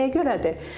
Bu nəyə görədir?